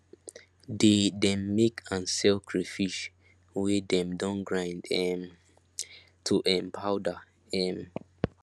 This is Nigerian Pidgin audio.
they dem make and sell crayfish wey dem don grind um to um powder um